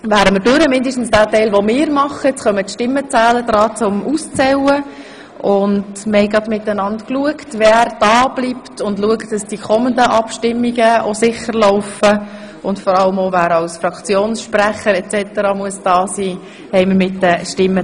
Wir haben mit den Stimmenzählern geregelt, wer dableibt, um sicherzustellen, dass die nächsten Abstimmungen korrekt ablaufen, und wer als Fraktionssprecher hier sein muss, etc.